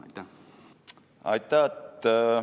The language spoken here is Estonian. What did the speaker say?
Aitäh!